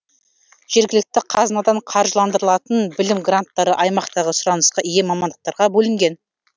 жергілікті қазынадан қаржыландырылатын білім гранттары аймақтағы сұранысқа ие мамандықтарға бөлінген